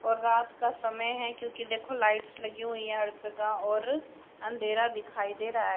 और रात का समय है क्योंकी देखो लाइट्स लगी हुई है हर जगह और अंधेरा दिखाई दे रहा है --